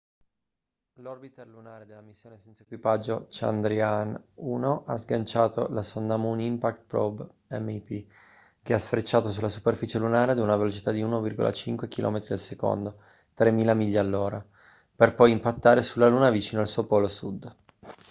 l'orbiter lunare della missione senza equipaggio chandrayaan-1 ha sganciato la sonda moon impact probe mip che ha sfrecciato sulla superficie lunare ad una velocità di 1,5 km/s 3000 miglia/h per poi impattare sulla luna vicino al suo polo sud